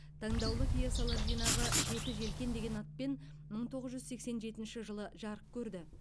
таңдаулы пьесалар жинағы жеті желкен деген атпен мың тоғыз жүз сексен жетінші жылы жарық көрді